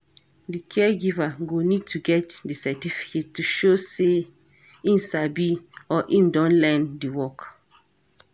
DI caregiver go need to get di certificate to show sey im sabi or im don learn di work